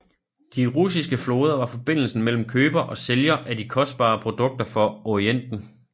De russiske floder var forbindelsen mellem køber og sælger af de kostbare produkter fra Orienten